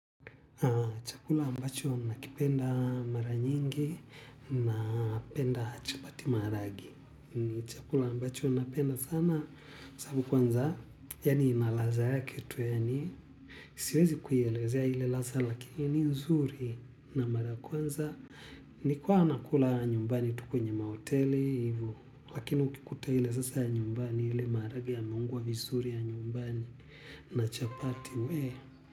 Chakula ambacho nakipenda mara nyingi napenda chapati maharage. Chakula ambacho napenda sana sababu kwanza, yaani ina ladha yake tu, yaani siwezi kuielezea ile ladha lakini ni nzuri na mara ya kwanza. Nilikuwa na kula nyumbani tu kwenye mahoteli hivo, lakini ukikuta ile sasa ya nyumbani ile maharage yameungwa vizuri ya nyumbani na chapati wee.